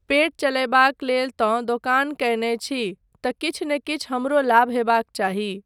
पेट चलयबाक लेल तँ दोकान कयने छी तँ किछु नहि किछु हमरो लाभ होयबाक चाही।